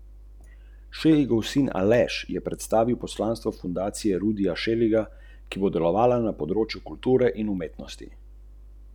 V prvem primeru je bila zoper odgovorno osebo podana kazenska ovadba zaradi suma storitve kaznivega dejanja zlorabe položaja ali pravic, so sporočili s Policijske uprave Celje.